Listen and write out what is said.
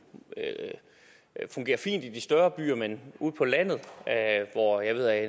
fint i de større byer men ude på landet hvor jeg ved at